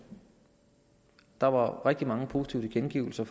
der var rigtig mange positive tilkendegivelser